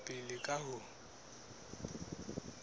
ho tswela pele ka ho